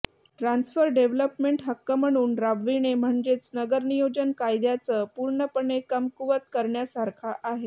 transfer development हक्क म्हणून राबविणे म्हणजेच नगर नियोजन कायदाच पूर्णपणे कमकुवत करण्यासारखा आहे